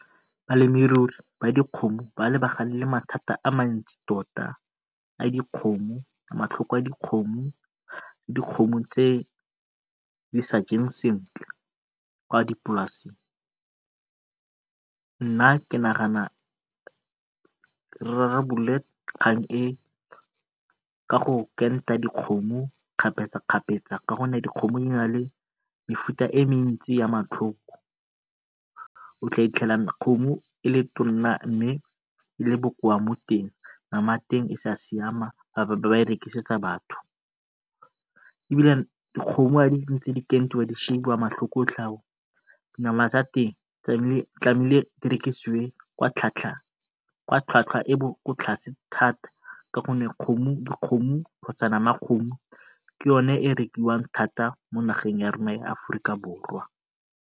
Balemirui ba dikgomo ba lebagane le mathata a mantsi totaa dikgomo, matlhoko a dikgomo, dikgomo tse di sa jeng sentle kwa dipolaseng. Nna ke nagana re kgang e ka go dikgomo kgapetsa kgapetsa ka gonne dikgomo di na le mefuta e mentsi ya kgomo e le e mme e le bokoa mo teng. Nama ya teng e sa siama, rekisetsa batho nama tsa teng di rekisiwe ka e e kwa tlase thata ka gonne dikgomo kgotsa nama ya kgomo ke yone e rekiwang thata mo nageng ya rona ya Aforika Borwa.